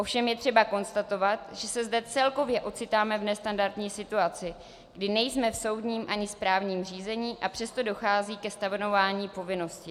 Ovšem je třeba konstatovat, že se zde celkově ocitáme v nestandardní situaci, kdy nejsme v soudním ani správním řízení, a přesto dochází ke stanovování povinnosti.